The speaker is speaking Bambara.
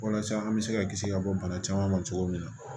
Walasa an bɛ se ka kisi ka bɔ bana caman ma cogo min na